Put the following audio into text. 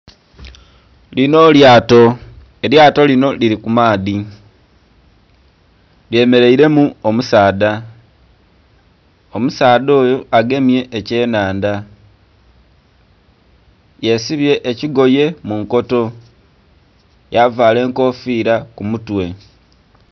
Linho lyato, elyato linho lili kumaadhi lyemeremu omusaadha, omusaadha oyo agemye ekyenhanhandha yesibye ekigoye munkoto yavala enkofiira kumutwe.